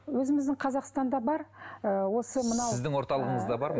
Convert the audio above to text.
өзіміздің қазақстанда бар ы осы мынау сіздің орталығыңызда бар ма